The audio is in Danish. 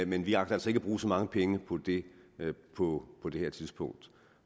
men vi agter altså ikke at bruge så mange penge på det på det her tidspunkt